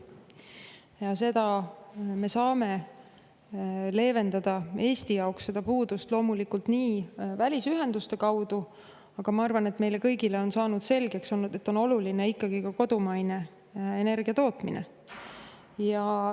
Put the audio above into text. Eesti jaoks me saame seda puudust leevendada loomulikult välisühenduste kaudu, aga ma arvan, et meile kõigile on saanud selgeks see, et oluline on ikkagi ka kodumaine energiatootmine.